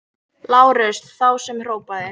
LÁRUS: Þá sem hrópaði!